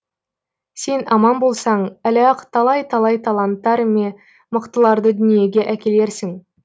сен аман болсаң әлі ақ талай талай таланттар ме мықтыларды дүниеге әкелерсің